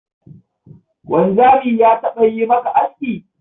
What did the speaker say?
Wanzami ya taɓa yi maka aski?